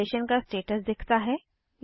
cancellation का status दिखता है